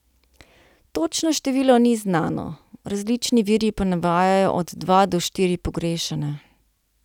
Točno število ni znano, različni viri pa navajajo od dva do štiri pogrešane.